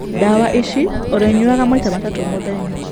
Ndawa ici ũrĩ nyuaga maita matatũ mũthenya.